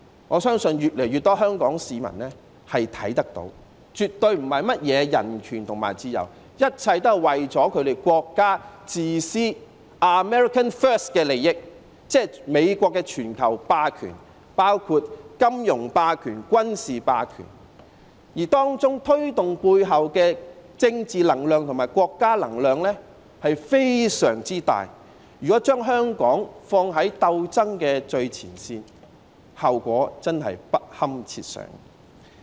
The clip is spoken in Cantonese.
我相信越來越多香港市民看得到絕對不是甚麼人權和自由，一切也是這國家的自私、America first 的利益，即美國的全球霸權，包括金融霸權和軍事霸權，而背後的政治能量和國家能量是非常巨大的，如果將香港放在鬥爭的最前線，後果真的不堪設想。